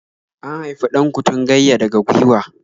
An haifi 'Dan-kutungayya daga gwiwa.